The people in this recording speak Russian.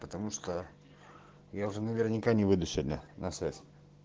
потому что я уже наверняка не выйду сегодня на связь